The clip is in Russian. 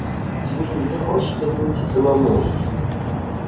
тебе не захочется выйти самому